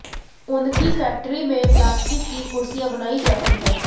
उनकी फैक्टरी में प्लास्टिक की कुर्सियां बनाई जाती हैं